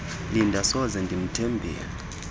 linda soze ndimthembile